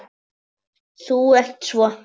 Þú ert svo.